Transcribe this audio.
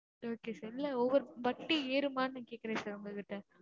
okay sir இல்ல ஒவ்வொரு வட்டி ஏருமான்னு கேக்குறேன் sir உங்ககிட்ட